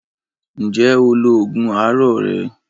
Ǹjẹ́ o lo oògùn àárọ̀ rẹ?